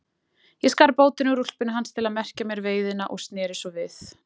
Ég skar bótina úr úlpunni hans til að merkja mér veiðina og sneri svo við.